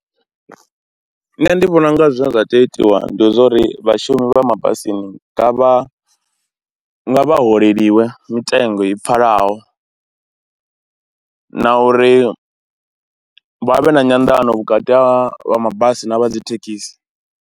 Nṋe ndi vhona u nga zwine zwa tea u itiwa ndi zwa uri vhashumi vha mabasini nga vha, nga vha vha holeliwe mitengo i pfhalaho na uri vha vhe na nyanḓano vhukati ha vha mabasi na vha dzi thekhisi.